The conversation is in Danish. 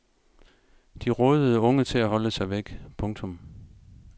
De rådede unge til at holde sig væk. punktum